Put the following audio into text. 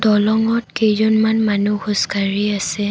দলঙত কেইজনমান মানুহ খোজকাঢ়ি আছে।